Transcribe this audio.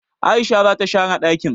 aishe zata share dakin!